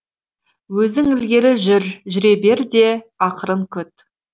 өзің ілгері жүре бер де ақырын күт